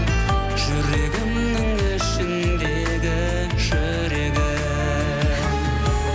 жүрегімнің ішіндегі жүрегім